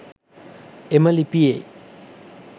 එම ලිපියේ